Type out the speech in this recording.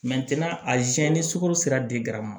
a ni sukaro sera